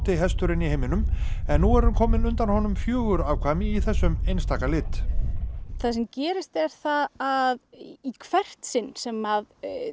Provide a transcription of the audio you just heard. hesturinn í heiminum en nú eru komin undan honum fjögur afkvæmi í þessum einstaka lit það sem gerist er að í hvert sinn sem